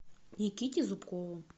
никите зубкову